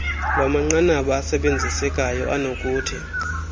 lwamanqanaba asebenzisekayo anokuthi